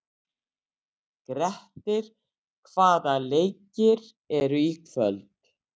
Grettir, hvaða leikir eru í kvöld?